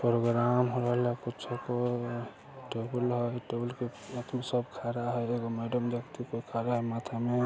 programme को छुपा के गोलाघाट उनके साथ में सब खा रहा है मैडम जाति को खतरा है मातम में --